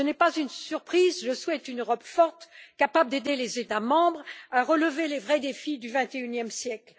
Ce n'est pas une surprise, je souhaite une Europe forte, capable d'aider les États membres à relever les vrais défis du XXIe siècle.